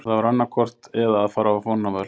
Það var annaðhvort Bretinn eða að fara á vonarvöl.